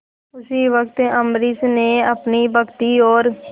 उसी वक्त अम्बरीश ने अपनी भक्ति और